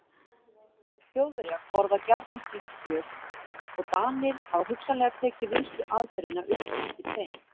Þjóðverjar borða gjarnan slíkt kjöt og Danir hafa hugsanlega tekið vinnsluaðferðina upp eftir þeim.